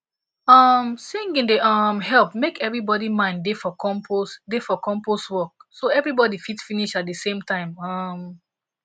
um singing dey um help make everybody mind da for compost da for compost work so everybody fit finish at the same time um